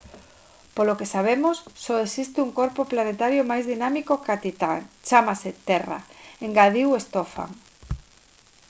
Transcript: polo que sabemos só existe un corpo planetario máis dinámico ca titán chámase terra engadiu stofan